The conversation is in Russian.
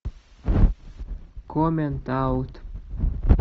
коммент аут